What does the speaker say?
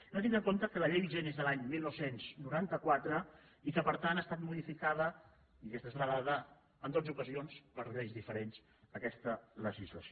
hem de tindre en compte que la llei vigent és de l’any dinou noranta quatre i que per tant ha estat modificada i aquesta és la dada en dotze ocasions per lleis diferents aquesta legislació